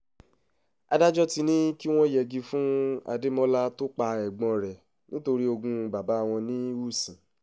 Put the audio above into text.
adájọ́ ti ní kí wọ́n yẹgi fún adémọlá tó pa ẹ̀gbọ́n rẹ́ nítorí ogún bàbá wọn ní ùsìn